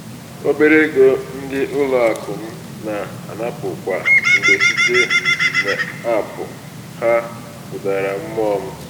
"obere ego ndị ụlọakụ m na-anapụ kwa mgbe site n'aapụ ha ha kụdara mmụọ m. "